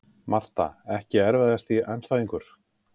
Marta Ekki erfiðasti andstæðingur?